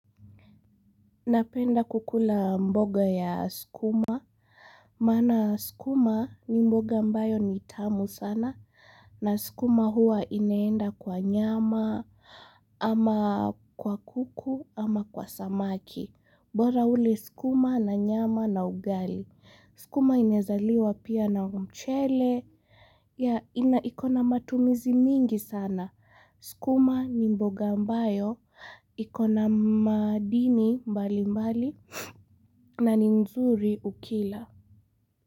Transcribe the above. Napenda kukula mboga ya skuma, mana skuma ni mboga mbayo ni tamu sana, na skuma hua ineenda kwa nyama, ama kwa kuku, ama kwa samaki. Mbora ule sikuma na nyama na ugali. Sukuma inezaliwa pia na umchele. Inaikona matumizi mingi sana. Sukuma ni mboga mbayo. Ikona madini mbalimbali na nzuri ukila.